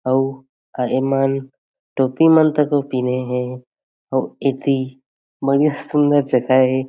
अउ ए मन टोपी मन तोह पिँधे हे अउ एथी मन ही सुंदर जगह हे।